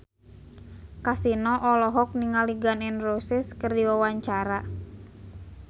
Kasino olohok ningali Gun N Roses keur diwawancara